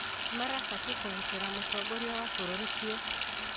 Marabatiĩ kũgitĩra mũtongoria wa bũrũri biũ